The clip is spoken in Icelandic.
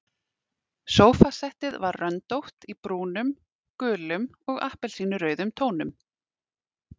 Sófasettið var röndótt í brúnum, gulum og appelsínurauðum tónum.